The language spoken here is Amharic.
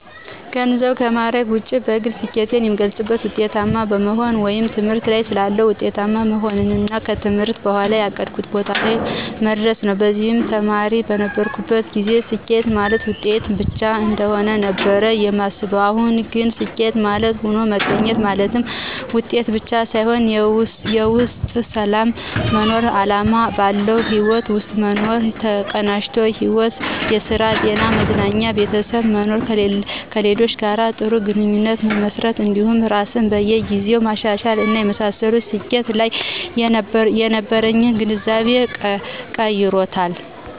ከገንዘብና ከማዕረግ ውጪ በግሌ ስኬትን የምገልፀው ውጤታማ በመሆን ወይም ትምህርት ላይ ሳለሁ ውጤታማ መሆንንና ከትምህርት በኋም ያቀድኩት ቦታ ላይ መድረስን ነው። በዚህም ተማሪ በነበርኩበት ጊዜ ስኬት ማለት ውጤት ብቻ እንደሆነ ነበር ማስበው አሁን ግን ስኬት ማለት ሆኖ መገኘት ማለትም ውጤት ብቻ ሳይሆን የውስጥ ሰላም መኖር፣ አላማ ባለው ህይወት ውስጥ መኖር፣ የተቀናጀ ሕይወት ( ስራ፣ ጤና፣ መዝናኛ፣ ቤተሰብ) መኖር፣ ከሌሎች ጋር ጥሩ ግንኙነት መመስረት እንዲሁም ራስን በየ ጊዜው ማሻሻል እና የመሳሰሉት ስኬት ላይ የነበረኝን ግንዛቤ ቀይሮታል።